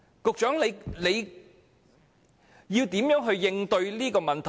局長，你會如何應對這個問題？